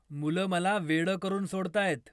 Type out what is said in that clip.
मुलं मला वेडं करून सोडतायत.